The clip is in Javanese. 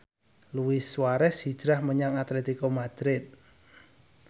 Luis Suarez hijrah menyang Atletico Madrid